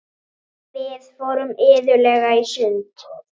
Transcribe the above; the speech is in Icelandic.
Við fórum iðulega í sund.